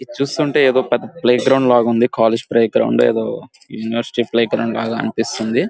ఇది చూస్తుంటే playground లాగా ఉంది కాలేజీ ప్లే గ్రౌండ్ ఏదో ఇండస్ట్రి ప్లే గ్రౌండ్ లాగా అనిపిస్తుంది.